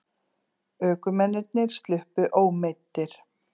Ökumennirnir sluppu ómeiddir